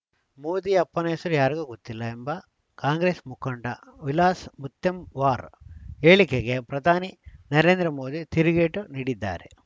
ಮೋದಿ ಅಪ್ಪನ ಹೆಸರು ಯಾರಿಗೂ ಗೊತ್ತಿಲ್ಲ ಎಂಬ ಕಾಂಗ್ರೆಸ್‌ ಮುಖಂಡ ವಿಲಾಸ್‌ ಮುತ್ತೆಮ್‌ವಾರ್‌ ಹೇಳಿಕೆಗೆ ಪ್ರಧಾನಿ ನರೇಂದ್ರ ಮೋದಿ ತಿರುಗೇಟು ನೀಡಿದ್ದಾರೆ